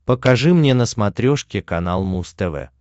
покажи мне на смотрешке канал муз тв